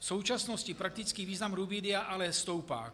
V současnosti praktický význam rubidia ale stoupá.